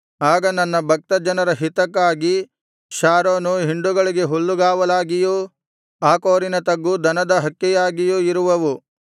ಆಗ ನನ್ನ ಭಕ್ತಜನರ ಹಿತಕ್ಕಾಗಿ ಶಾರೋನು ಹಿಂಡುಗಳಿಗೆ ಹುಲ್ಲುಗಾವಲಾಗಿಯೂ ಆಕೋರಿನ ತಗ್ಗು ದನದ ಹಕ್ಕೆಯಾಗಿಯೂ ಇರುವವು